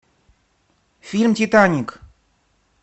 фильм титаник